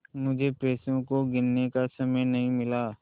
मुझे पैसों को गिनने का समय नहीं मिला